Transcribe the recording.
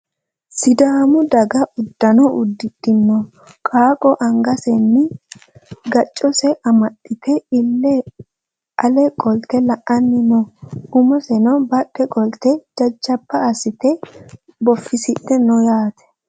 Sidaamu daga uddano udidhino qaaqqo angasenni gaccose amaxxite ille ale qolte la'anni no. Umoseno badhe qolte jajjaba assite boffisidhe no yaate.